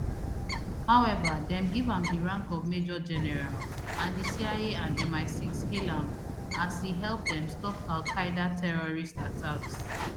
however dem give am di rank of majorgeneral and di cia and misix hail am as e help dem stop alqaeda terrorist attacks